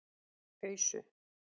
Ausu